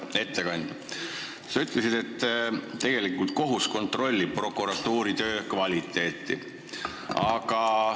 Hea ettekandja, sa ütlesid, et kohus tegelikult kontrollib prokuratuuri töö kvaliteeti.